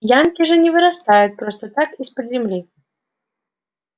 янки же не вырастают просто так из-под земли